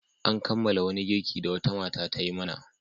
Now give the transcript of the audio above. An kammala wani girki da wata mata ta yi mana.